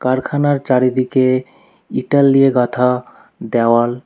কারখানার চারিদিকে ইটল দিয়ে গাঁথা দেওয়াল।